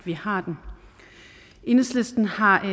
vi har den enhedslisten har